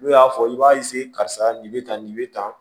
N'u y'a fɔ i b'a karisa nin be tan nin be tan